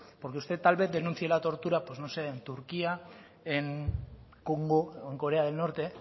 porque usted tal vez denuncie la tortura pues no sé en turquía en congo o en corea del norte